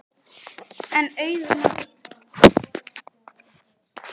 En auðnan er víst einhlítust, sagði hann og settist aftur.